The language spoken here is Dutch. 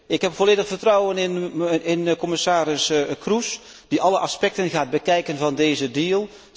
Ik heb volledig vertrouwen in commissaris Kroes, die alle aspecten gaat bekijken van deze deal.